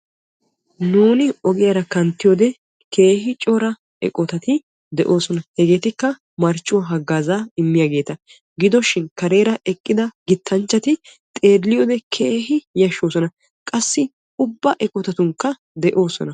nuuni ogiyaara kanttiyoode keehi cora eqqotati de'oosona. hegeetikka marccuwa hagaazzaa immiyaageeta. giddishin kareera eqqida gittanchchati xeeliyoode keehi yashshoosona. qassi ubba eqqotatunkka de'oosona.